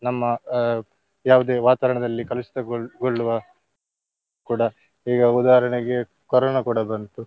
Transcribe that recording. ನಮ್ಮ ಅಹ್ ಯಾವುದೇ ವಾತವರಣದಲ್ಲಿ ಕಲುಷಿತಗೊಳ್~ ಗೊಳ್ಳುವ ಕೂಡ ಈಗ ಉದಾಹರಣೆಗೆ ಕೊರೊನಾ ಕೂಡ ಬಂತು.